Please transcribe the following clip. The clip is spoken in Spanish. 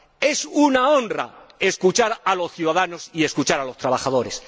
Es una honra escuchar a los ciudadanos y escuchar a los trabajadores.